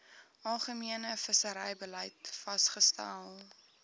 algemene visserybeleid vasgestel